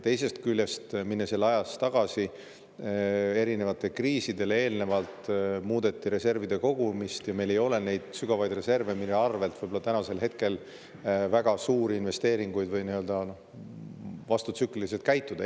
Teisest küljest, minnes jälle ajas tagasi: enne erinevaid kriise muudeti reservide kogumist ja meil ei ole neid reserve, mille abil saaks väga suuri investeeringuid või vastutsükliliselt käituda.